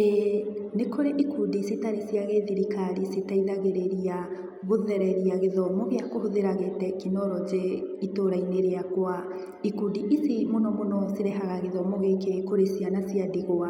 Ĩĩ nĩkũrĩ ikundi citarĩ cia gĩthirikari citeithagĩrĩria guthereria gĩthomo gĩa kũhũthĩra gĩ-tekinoronjĩ itũra-inĩ rĩakwa. Ikundi ici mũno mũno cirehaga gĩthomo gĩkĩ kũrĩ ciana cia ndigwa.